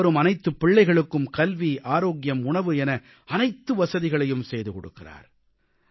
பள்ளிக்கு வரும் அனைத்துப் பிள்ளைகளுக்கும் கல்வி ஆரோக்கியம் உணவு என அனைத்து வசதிகளையும் செய்து கொடுக்கிறார்